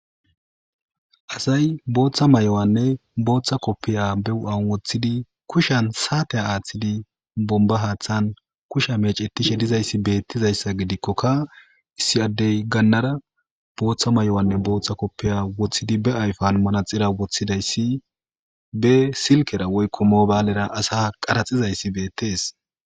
Asay booththa mayuwanne booththa koppiyiya be huuphiyan woththidi kushiyan saathiyaa aaththidi bombba haaththan kushiya meecceththiide dizayssa gidikkokka issi addee gannara bootthoa maa7uwaanne booththa koppiyiya woththidi ayfan manatsiriya woththidida isi be silkkera woykko moobaalera asa qaratsizayssi beeththees.